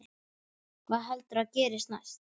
Hvað heldurðu að gerist næst?